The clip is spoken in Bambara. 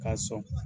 K'a sɔn